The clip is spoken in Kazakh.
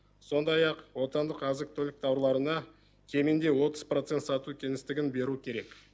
сондай ақ отандық азық түлік тауарларына кемінде отыз процент сату кеңістігін беру керек